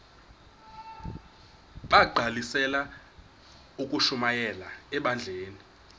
bagqalisele ukushumayela ebandleni